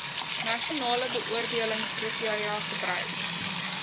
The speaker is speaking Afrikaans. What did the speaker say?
nasionale beoordelingskriteria gebruik